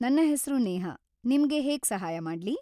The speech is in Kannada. ನನ್ನ ಹೆಸ್ರು ನೇಹ, ನಿಮ್ಗೆ ಹೇಗೆ ಸಹಾಯ ಮಾಡ್ಲಿ?